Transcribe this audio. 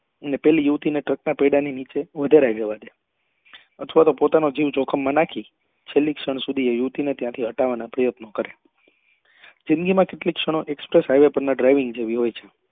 અને પેલી યુવતી ને તો ટ્રક ના પૈડા ની નીચે અથવા તો પોતાનો જીવ જોખમ માં નાખી છેલ્લે ક્ષણ સુધી એ યુવતી ને ત્યાંથી હટાવવા ના પ્રયત્ન કાર્ય જિંદગી માં કેટલી ક્ષણો express highway પર ના driving જેવી હોય છે